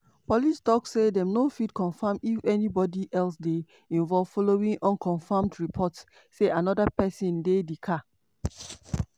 police tok say dem no fit confam if anyone else dey involved following unconfirmed reports say anoda pesin dey di car.